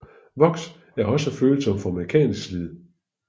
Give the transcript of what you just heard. Voks er også følsom for mekanisk slid